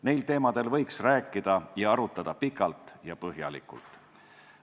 Neil teemadel võiks rääkida ja arutada pikalt ja põhjalikult.